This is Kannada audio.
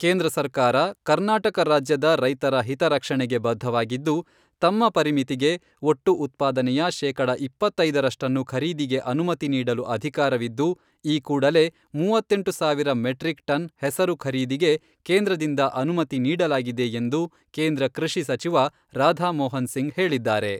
ಕೇಂದ್ರ ಸರಕಾರ, ಕರ್ನಾಟಕ ರಾಜ್ಯದ ರೈತರ ಹಿತ ರಕ್ಷಣೆಗೆ ಬದ್ಧವಾಗಿದ್ದು ತಮ್ಮ ಪರಿಮಿತಿಗೆ ಒಟ್ಟು ಉತ್ಪಾದನೆಯ ಶೇಕಡಾ ಇಪ್ಪತ್ತೈದರಷ್ಟನ್ನು ಖರೀದಿಗೆ ಅನುಮತಿ ನೀಡಲು ಅಧಿಕಾರವಿದ್ದು ಈ ಕೂಡಲೇ ಮೂವತ್ತೆಂಟು ಸಾವಿರ ಮೆಟ್ರಿಕ್ ಟನ್ ಹೆಸರು ಖರೀದಿಗೆ ಕೇಂದ್ರದಿಂದ ಅನುಮತಿ ನೀಡಲಾಗಿದೆ ಎಂದು ಕೇಂದ್ರ ಕೃಷಿ ಸಚಿವ ರಾಧಾಮೋಹನ್ ಸಿಂಗ್ ಹೇಳಿದ್ದಾರೆ.